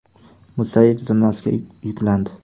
Musayev zimmasiga yuklandi.